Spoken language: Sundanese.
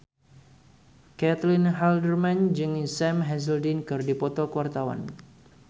Caitlin Halderman jeung Sam Hazeldine keur dipoto ku wartawan